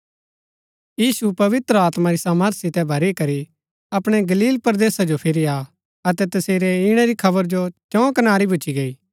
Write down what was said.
यीशु पवित्र आत्मा री सामर्थ सितै भरी करी अपणै गलील परदेसा जो फिरी आ अतै तसेरै ईणै री खबर चौं कनारी भूच्ची गैई